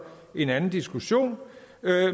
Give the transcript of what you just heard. en anden diskussion